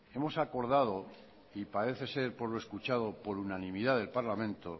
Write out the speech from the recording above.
hemos acordado y parece ser por lo escuchado por unanimidad del parlamento